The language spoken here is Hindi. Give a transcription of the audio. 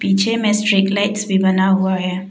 पीछे में स्ट्रीट लाइट्स भी बना हुआ है।